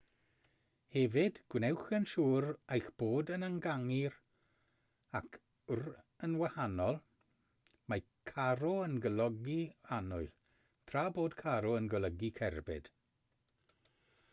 hefyd gwnewch yn siŵr eich bod yn ynganu r ac rr yn wahanol mae caro yn golygu annwyl tra bod carro yn golygu cerbyd